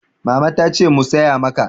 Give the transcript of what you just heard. Mama ta ce mu saya maka.